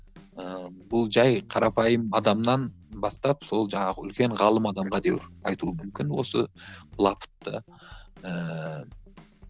ыыы бұл жай қарапайым адамнан бастап сол жаңағы үлкен ғалым айтуы мүмкін осы былапытты ііі